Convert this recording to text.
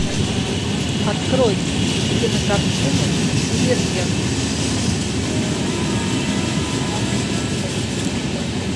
открой кинокартину дивергент